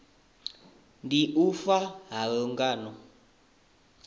ndi u fa ha lungano